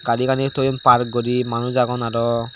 gari gani toyon park guri manuj agon aro.